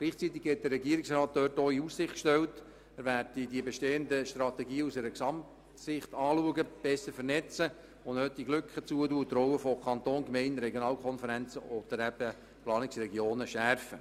Gleichzeitig hat der Regierungsrat diesbezüglich in Aussicht gestellt, die bestehenden Strategien aus einer Gesamtsicht anzuschauen, um sie besser zu vernetzen und nötigenfalls Lücken zu schliessen sowie die Rollen von Kanton, Gemeinden und Regionalkonferenzen oder Planungsregionen zu schärfen.